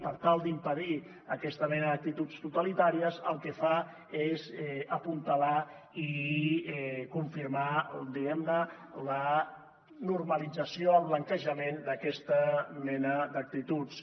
per tal d’impedir aquesta mena d’actituds totalitàries el que fa és apuntalar i confirmar diguem ne la normalització el blanquejament d’aquesta mena d’actituds